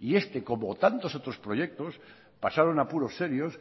y este como tantos otros proyectos pasaron apuros serios